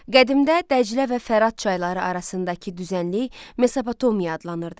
Qədimdə Dəclə və Fərat çayları arasındakı düzənlik Mesopotomiya adlanırdı.